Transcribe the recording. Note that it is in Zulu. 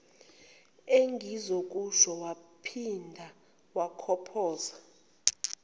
engizokusho waphinda wakhophoza